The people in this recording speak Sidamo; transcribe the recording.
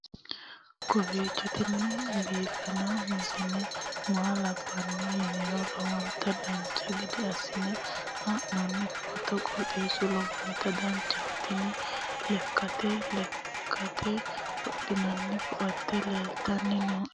kowiicho tini biiffanno misile maa labbanno yiniro lowonta dancha gede assine haa'noonni foototi qoxeessuno lowonta danachaho. tini lekkanna lekkate wodhinanni koate leeltanni nooe